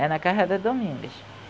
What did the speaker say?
É na casa da Domingas.